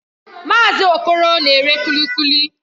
Mazị Okoro na-ere Kuli Kuli